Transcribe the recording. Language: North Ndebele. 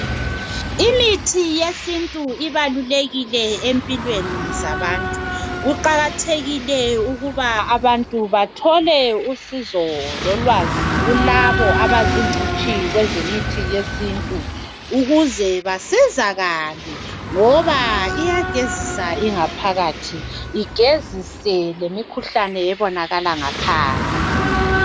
Imithi yesintu ibalulekile empilweni zabantu kuqakathekile ukuthi abantu bathole usizo lolwazi kulabo abazingcitshi kwemithi yesintu ukuze basizakale ngoba iyagezisa ingaphakathi igezise lemikhuhlane ebonakala ngaphandle